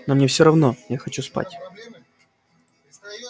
но мне все равно я хочу спать